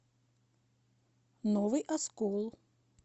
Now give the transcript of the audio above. новый оскол